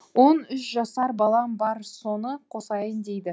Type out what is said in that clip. он үш жасар балам бар соны қосайын дейді